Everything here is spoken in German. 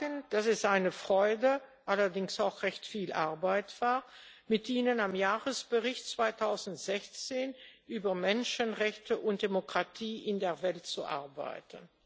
Ich muss sagen, dass es eine Freude, allerdings auch recht viel Arbeit, war, mit ihnen am Jahresbericht 2016 über Menschenrechte und Demokratie in der Welt zu arbeiten.